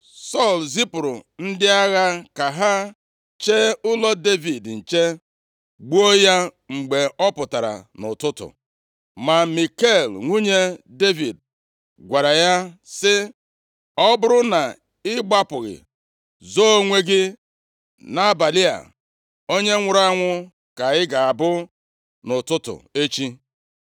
Sọl zipụrụ ndị agha ka ha chee ụlọ Devid nche, gbuo ya mgbe ọ pụtara nʼụtụtụ. Ma Mikal nwunye Devid gwara ya sị, “Ọ bụrụ na ị gbapụghị, zoo onwe gị nʼabalị a, onye nwụrụ anwụ ka ị ga-abụ nʼụtụtụ echi.”